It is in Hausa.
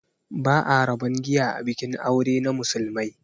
Ba'a rabon giya a bikin aure na musulmai